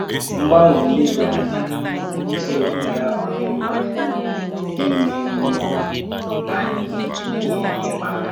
Mgbanwe ndị um dị anya na-ewetára ọdịmma ime um mmụọ anyị ihe ị́ma aka?